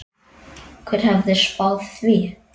Hver hefði spáð því?